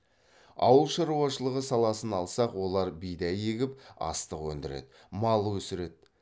ауыл шаруашылығы саласын алсақ олар бидай егіп астық өндіреді мал өсіреді